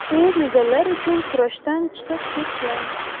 U medallar uchun kurashdan chiqib ketgan.